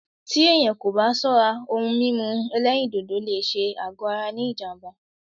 Tí èyàn kò bá ṣọ́rá, òhún mímú ẹ̀lẹ́rìndodò lé ṣé àgọ ara ní jám̀bá.